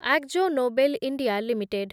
Akzo Nobel India limited